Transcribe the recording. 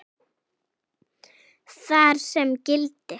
þar sem gildir